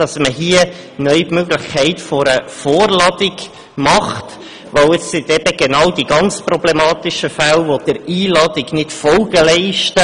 Wir unterstützen, dass man hier neu die Möglichkeit einer Vorladung schafft, weil einer Einladung gerade die ganz problematischen Fälle nicht Folge leisten.